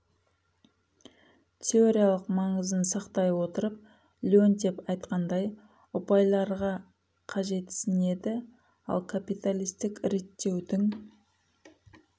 теориялық маңызын сақтай отырып леонтьев айтқандай ұпайларға қажетісінеді ал капиталистік реттеудің